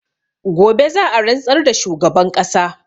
Gobe za a rantsar da shugaban ƙasa